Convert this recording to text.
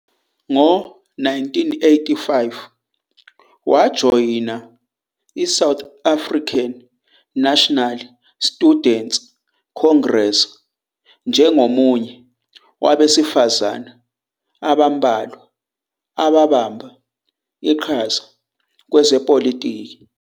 Ngo-1985, wajoyina iSouth African National Students Congress njengomunye wabesifazane abambalwa ababamba iqhaza kwezepolitiki.